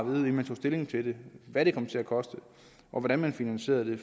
man tog stilling til det hvad det kom til at koste og hvordan man finansierede det